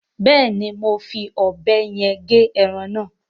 Beeni, mo n fí òbé yen ge eran na